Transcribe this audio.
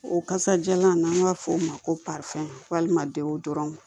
O kasajalan n'an b'a fɔ o ma ko walima denw dɔrɔnw